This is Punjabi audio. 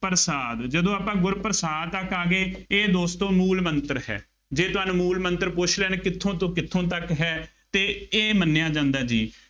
ਪ੍ਰਸਾਦਿ, ਜਦੋਂ ਆਪਾਂ ਗੁਰ ਪ੍ਰਸਾਦਿ ਤੱਕ ਆ ਗਏ, ਇਹ ਦੋਸਤੋ ਮੂਲ ਮੰਤਰ ਹੈ। ਜੇ ਤੁਹਾਨੂੰ ਮੂ਼ਲ ਮੰਤਰ ਪੁੱਛ ਲੈਣ, ਕਿੱਥੋ ਤੋਂ ਕਿੱਥੋ ਤੱਕ ਹੈ ਅਤੇ ਇਹ ਮੰਨਿਆ ਜਾਂਦਾ ਜੀ।